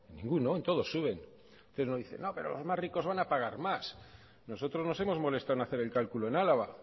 en ninguno en todos sube usted dice no pero los más ricos van a pagar más nosotros nos hemos molestado en hacer el cálculo en álava